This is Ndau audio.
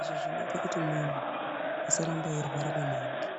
Izvi zvinoite kuti munhu asaramba eirwara maningi.